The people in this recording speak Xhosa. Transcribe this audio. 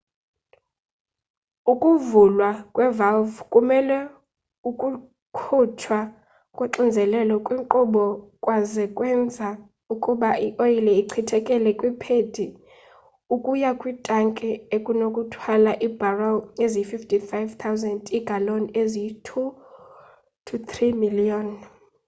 ukuvulwa kwe-valve kuvumele ukukhutshwa koxinzelelo kwinkqubo kwaze kwenza ukuba ioyile echithekele kwiphedi ukuya kwitanki enokuthwala iibharel eziyi-55 000 iigaloni eziyi-2,3 miliyoni